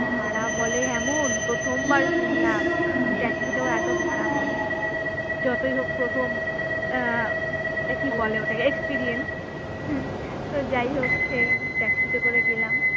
ভাড়া বলে এমন প্রথমবার শুনলাম taxi তেও এত ভাড়া বলে যতই হোক প্রথম আহ এ কি বলে ওটাকে experience যাইহোক সেই taxi তে করে গেলাম